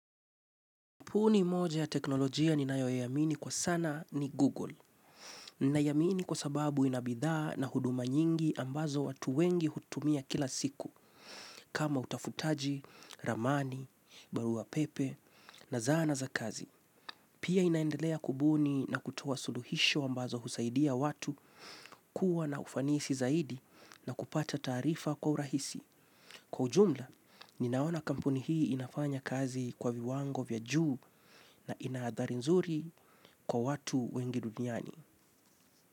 Kampuni moja ya teknolojia ninayoiamini kwa sana ni google. Ninaiamini kwa sababu ina bidhaa na huduma nyingi ambazo watu wengi hutumia kila siku, kama utafutaji, ramani, barua pepe, na zana za kazi. Pia inaendelea kubuni na kutoa suluhisho ambazo husaidia watu, kuwa na ufanisi zaidi na kupata taarifa kwa urahisi. Kwa ujumla, ninaona kampuni hii inafanya kazi kwa viwango vya juu na inaadhari nzuri kwa watu wengi duniani.